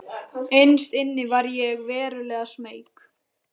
Innst inni var ég verulega smeyk.